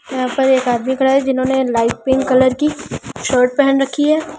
यहां पर एक आदमी खड़ा है जिन्होंने लाइट पिंक कलर की शर्ट पहन रखी है।